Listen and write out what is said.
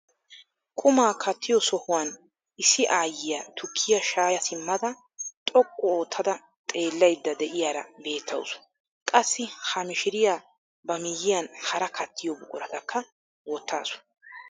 Qumaa kattiyoo sohuwaan issi ayiyaa tukkiyaa shaya simmada xoqqu oottada xeellayda de'iyaara beettawus. Qassi ha mishiriyaa ba miyiyaan hara kattiyoo buquratakka wottasu.